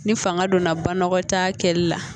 Ni fanga donna ba ta kɛli la